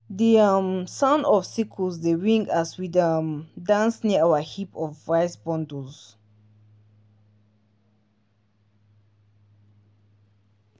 the um sound of sickles dey ring as we dey um dance near our heap of rice bundles